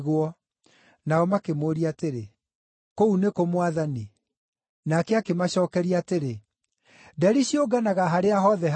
Nao makĩmũũria atĩrĩ, “Kũu nĩ kũ Mwathani?” Nake akĩmacookeria atĩrĩ, “Nderi ciũnganaga harĩa hothe harĩ kĩimba.”